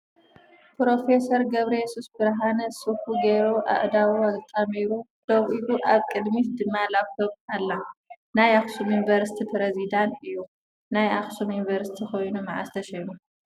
ፕሮፌሰር ገብረየሱስ ብርሃነ ስፉ ገይሩ ኣእዳው ኣጣሚሩ ደውኢሉ ኣብ ቅድሚት ድማ ላፕቶ ኣላ ። ናይ ኣክሱም ዩኒቨርሲቲ ፕረዚዳን እዩ ። ናይ ኣክሱም ዩኒቨርሲቲ ኮይኑ መዓዝ ተሸይሙ